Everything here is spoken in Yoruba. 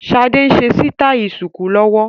Sade ń ṣe sítai ṣùkú lọ́wọ́